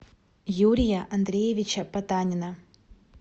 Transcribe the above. юрия андреевича потанина